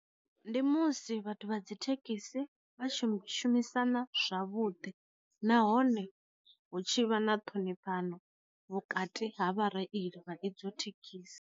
Ndi musi vhathu vha dzi thekhisi vhashumi shumisana zwavhuḓi, nahone hu tshi vha na ṱhonifhano vhukati ha vha reili vha idzo thekhisi.